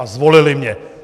A zvolili mě.